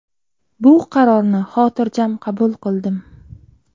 Bu qarorni xotirjam qabul qildim.